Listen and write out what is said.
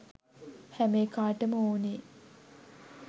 හැම එකාටම ඕනේ